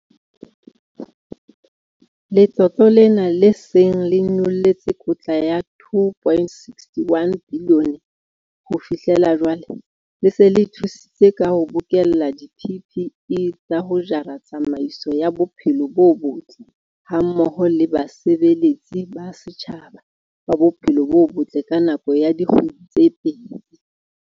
Letlole lena, le seng le nyollotse kotla ya 2.61 bilione ho fihlela jwale, le se le thusitse ka ho bokella di-PPE tsa ho jara tsamaiso ya bophelo bo botle hammoho le basebeletsi ba setjhaba ba bophelo bo botle ka nako ya dikgwedi tse pedi.